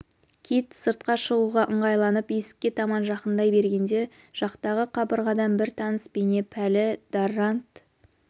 кит сыртқа шығуға ыңғайланып есікке таман жақындай бергенде жақтағы қабырғадан бір таныс бейне пәлі даррант